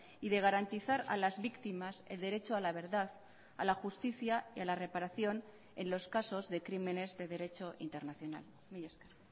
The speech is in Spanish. y de garantizar a las víctimas el derecho a la verdad a la justicia y a la reparación en los casos de crímenes de derecho internacional mila esker